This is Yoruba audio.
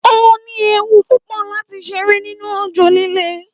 Óní ewu púpò lati ṣeré nínú òjò líle